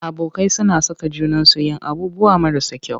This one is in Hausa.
Abokai suna saka junansu yin abubuwan marasa kyau.